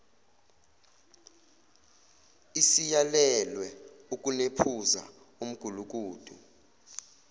isiyalelwe ukunephuza umgulukudu